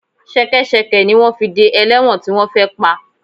Ṣẹkẹ́ṣẹkẹ̀ ni wọ́n fi dé ẹlẹ́wọ̀n tí wọ́n fẹ́ pa